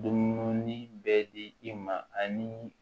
Dumuni bɛ di i ma ani